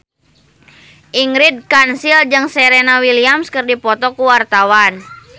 Ingrid Kansil jeung Serena Williams keur dipoto ku wartawan